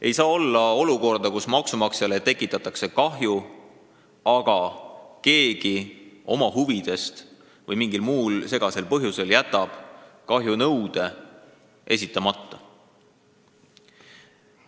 Ei saa olla olukorda, kus maksumaksjale tekitatakse kahju, aga keegi jätab oma huvidest lähtudes või mingil muul segasel põhjusel kahjunõude esitamata.